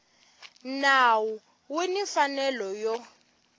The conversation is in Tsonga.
nawu u ni mfanelo yo